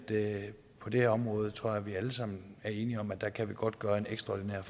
det her område tror jeg er vi alle sammen enige om at der kan vi godt gøre en ekstraordinær